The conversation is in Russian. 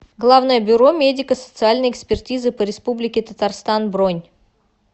главное бюро медико социальной экспертизы по республике татарстан бронь